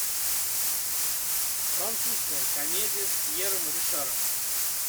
французская комедия с пьером ришаром